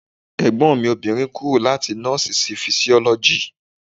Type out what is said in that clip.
Ẹ̀gbọ́n mi obìnrin kúrò láti nọ́ọ̀sì sí fisiọ́lọ́jì.